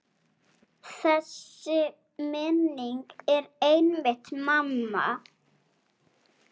Þessi minning er einmitt mamma.